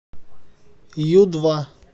ю два